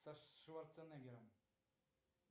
со шварцнегером